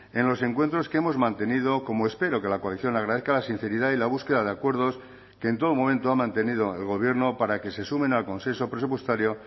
en los encuentros que hemos mantenido como espero que la coalición agradezca la sinceridad y la búsqueda de acuerdos que en todo momento ha mantenido el gobierno para que se sumen al consenso presupuestario